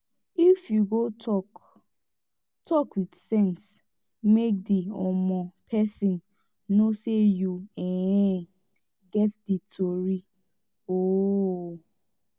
if yu go tok tok wit sense mek di um pesin no sey yu um get di tori um